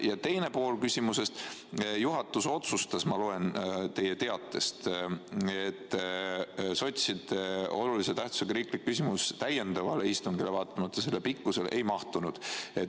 Ja teine pool küsimusest: juhatus otsustas – ma loen teie teatest –, et sotside olulise tähtsusega riiklik küsimus täiendavale istungile vaatamata selle pikkusele ei mahtunud.